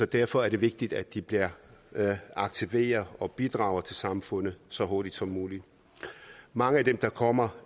derfor er det vigtigt at de bliver aktiveret og bidrager til samfundet så hurtigt som muligt mange af dem der kommer